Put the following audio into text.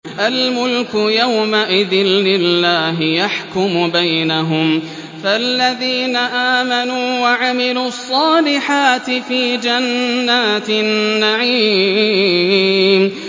الْمُلْكُ يَوْمَئِذٍ لِّلَّهِ يَحْكُمُ بَيْنَهُمْ ۚ فَالَّذِينَ آمَنُوا وَعَمِلُوا الصَّالِحَاتِ فِي جَنَّاتِ النَّعِيمِ